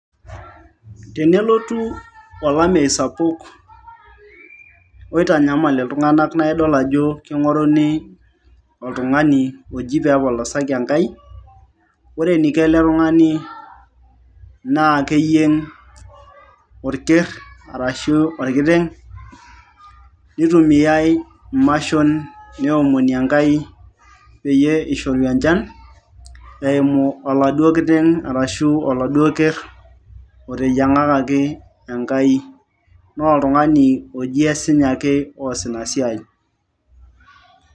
Tenelotu olameyu sapuk oitanyamal iltung'anak, naidol ajo king'oruni oltung'ani oji pepolosaki Enkai. Ore eniko ele tung'ani, naa keyieng' orker arashu orkiteng',nitumiai imashon neomoni Enkai peyie ishoru enchan, eimu oladuo kiteng' arashu oladuo kerr oteyiang'akaki Enkai. Naa oltung'ani oji esinya ake oas inasiai.